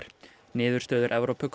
niðurstöður